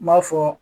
N m'a fɔ